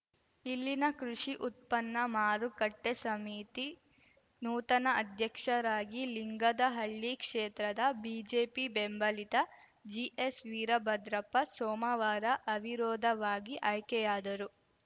ಇಲ್ಲಿನ ಕೃಷಿ ಉತ್ಪನ್ನ ಮಾರುಕಟ್ಟೆಸಮಿತಿ ನೂತನ ಅಧ್ಯಕ್ಷರಾಗಿ ಲಿಂಗದಹಳ್ಳಿ ಕ್ಷೇತ್ರದ ಬಿಜೆಪಿ ಬೆಂಬಲಿತ ಜಿಎಸ್‌ ವೀರಭದ್ರಪ್ಪ ಸೋಮವಾರ ಅವಿರೋಧವಾಗಿ ಅಯ್ಕೆಯಾದರು